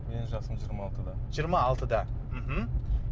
менің жасым жиырма алтыда жиырма алтыда мхм